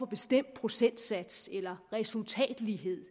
bestemt procentsats eller resultatlighed